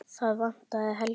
Það vantaði Helgu.